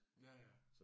Ja ja